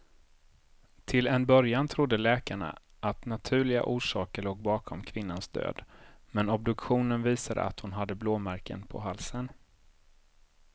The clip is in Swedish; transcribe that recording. Till en början trodde läkarna att naturliga orsaker låg bakom kvinnans död, men obduktionen visade att hon hade blåmärken på halsen.